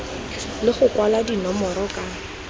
le go kwalwa dinomoro ka